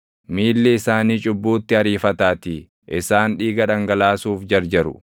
miilli isaanii cubbuutti ariifataatii; isaan dhiiga dhangalaasuuf jarjaru.